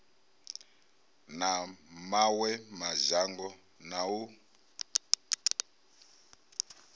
na mawe madzhango na u